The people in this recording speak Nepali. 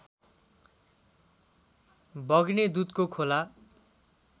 बग्ने दुधको खोला